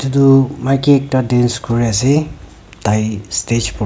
itu maki ekta dance kuriase tai stage